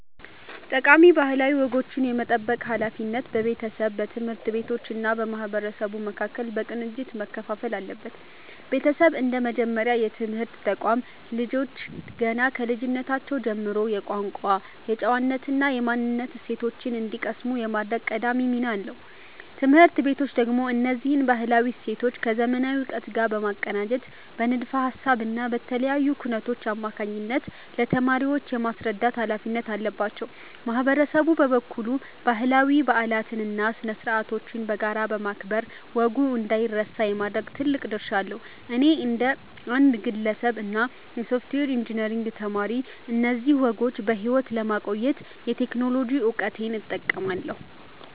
ጠቃሚ ባህላዊ ወጎችን የመጠበቅ ሃላፊነት በቤተሰብ፣ በትምህርት ቤቶች እና በማህበረሰቡ መካከል በቅንጅት መከፋፈል አለበት። ቤተሰብ እንደ መጀመሪያ የትምህርት ተቋም፣ ልጆች ገና ከልጅነታቸው ጀምሮ የቋንቋ፣ የጨዋነት እና የማንነት እሴቶችን እንዲቀስሙ የማድረግ ቀዳሚ ሚና አለው። ትምህርት ቤቶች ደግሞ እነዚህን ባህላዊ እሴቶች ከዘመናዊ እውቀት ጋር በማቀናጀት በንድፈ ሃሳብ እና በተለያዩ ኩነቶች አማካኝነት ለተማሪዎች የማስረዳት ሃላፊነት አለባቸው። ማህበረሰቡ በበኩሉ ባህላዊ በዓላትን እና ስነ-ስርዓቶችን በጋራ በማክበር ወጉ እንዳይረሳ የማድረግ ትልቅ ድርሻ አለው። እኔ እንደ አንድ ግለሰብ እና የሶፍትዌር ኢንጂነሪንግ ተማሪ፣ እነዚህን ወጎች በሕይወት ለማቆየት የቴክኖሎጂ እውቀቴን እጠቀማለሁ።